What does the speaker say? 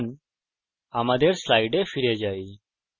এখন আমরা আমাদের slides ফিরে যাই